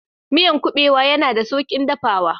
Miyan kubewa yana da saukin dafawa